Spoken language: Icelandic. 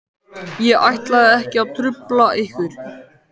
Ég ætlaði samt ekki að trufla ykkur.